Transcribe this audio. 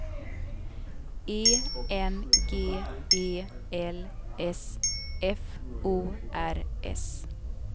E N G E L S F O R S